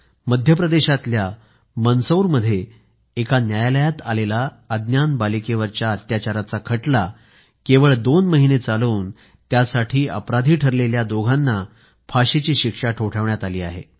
मध्य प्रदेशातल्या मंदसौरमध्ये एका न्यायालयात आलेला अज्ञान बालिकेवरच्या अत्याचाराचा खटला केवळ दोन महिने चालवून त्यासाठी अपराधी ठरलेल्या दोघांना फाशीची शिक्षा ठोठावण्यात आली आहे